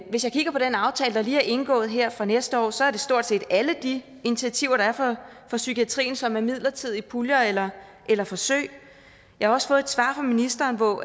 hvis jeg kigger på den aftale der lige er indgået her for næste år så er det stort set alle de initiativer der er for psykiatrien som er midlertidige puljer eller eller forsøg jeg har også fået et svar fra ministeren hvor